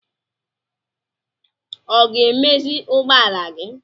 Ọ ga-emezi ụgbọala gị?